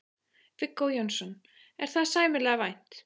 Viggó Jónsson: Er það sæmilega vænt?